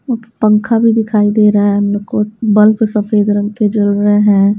और पंखा भी दिखाई दे रहा है हम लोग को बल्ब सफेद रंग के जल रहे हैं।